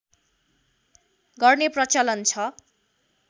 गर्ने प्रचलन छ